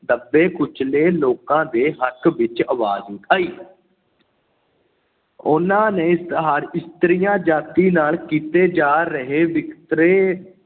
ਦੱਬੇ-ਕੁਚਲੇ ਲੋਕਾਂ ਦੇ ਹੱਕ ਵਿੱਚ ਅਵਾਜ਼ ਉਠਾਈ। ਉਹਨਾ ਨੇ ਹਰ ਇਸਤਰੀ ਜਾਤੀ ਨਾਲ ਕੀਤੇ ਜਾ ਰਹੇ ਵਿਤਕਰੇ